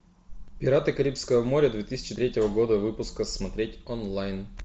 пираты карибского моря две тысячи третьего года выпуска смотреть онлайн